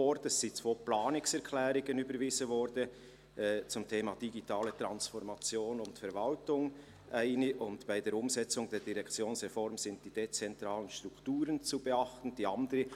Es wurden zwei Planungserklärungen überwiesen zu den Themen «Digitale Transformation und Verwaltung», so die eine, und «Bei der Umsetzung der Direktionsreform sind die dezentralen Strukturen zu beachten», so lautete die andere.